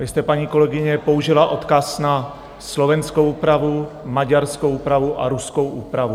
Vy jste, paní kolegyně, použila odkaz na slovenskou úpravu, maďarskou úpravu a ruskou úpravu.